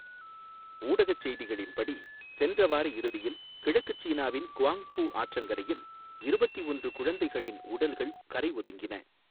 ஊடகச் செய்திகளின்படி, சென்ற வாரயிறுதியில் கிழக்குச் சீனாவின் குவாங்ஃபு ஆற்றங்கரையில் இருபத்தி ஒன்று குழந்தைகளின் உடல்கள் கரை ஒதுங்கின.